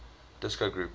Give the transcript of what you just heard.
disco groups